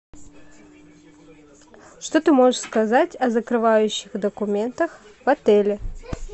что ты можешь сказать о закрывающих документах в отеле